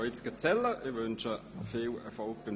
Ich wünsche viel Erfolg dabei.